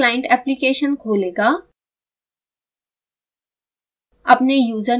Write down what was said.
यह sbhs client application खोलेगा